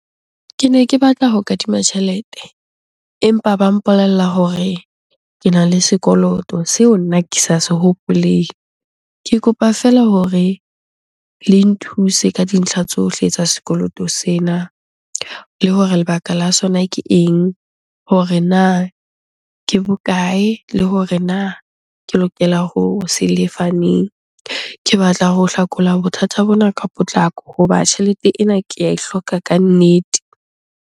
Kene ke batla ho kadima tjhelete empa ba mpolella hore kena le sekoloto seo nna ke sa se hopoleng. Ke kopa feela hore le nthuse ka dintlha tsohle tsa sekoloto sena, le hore lebaka la sona ke eng? Hore na ke bokae? Le hore na ke lokela ho se lefa neng? Ke batla ho hlakola bothata bona ka potlako. Hoba tjhelete ena ke ae hloka kannete.